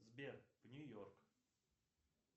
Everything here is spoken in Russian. сбер в нью йорк